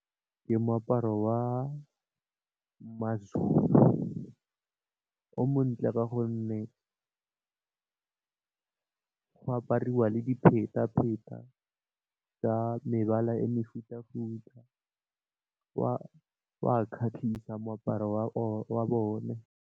Ke moaparo wa mazulu, o montle ka gonne go apariwa le dipheta dipheta tsa mebala e mefuta futa wa kgatlhisa moaparo wa bone.